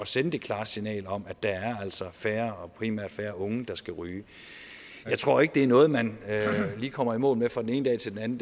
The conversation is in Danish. sende et klart signal om at der altså er færre og primært færre unge der skal ryge jeg tror ikke at det er noget man lige kommer i mål med fra den ene dag til den